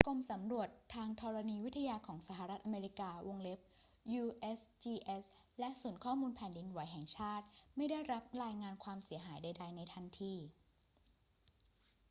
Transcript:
กรมสำรวจทางธรณีวิทยาของสหรัฐอเมริกา usgs และศูนย์ข้อมูลแผ่นดินไหวแห่งชาติไม่ได้รับรายงานความเสียหายใด ๆ ในทันที